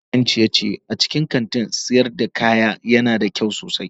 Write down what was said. Sashen kayan ciye-ciye a cikin kantin sayar da kaya yana da kyau sosai.